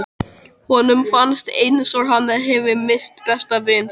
Honum fannst eins og hann hefði misst besta vin sinn.